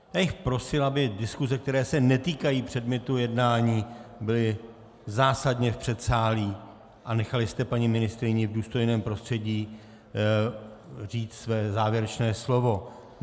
Já bych prosil, aby diskuse, které se netýkají předmětu jednání, byly zásadně v předsálí a nechali jste paní ministryni v důstojném prostředí říct své závěrečné slovo.